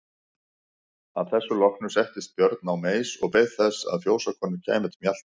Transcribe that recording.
Að þessu loknu settist Björn á meis og beið þess að fjósakonur kæmu til mjalta.